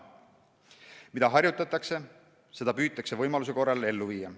Mida harjutatakse, seda püütakse võimaluse korral ellu viia.